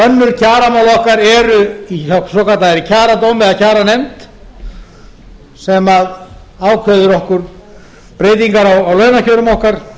önnur kjaramál okkar eru hjá svokölluðum kjaradómi eða kjaranefnd sem ákveður okkur breytingar á launakjörum okkar